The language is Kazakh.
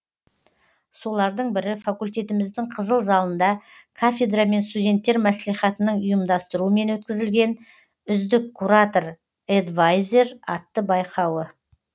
солардың бірі фаультетіміздің қызыл залында кафедра мен студенттер мәслихатының ұйымдастыруымен өткізілген үздік куратор эдвайзер атты байқауы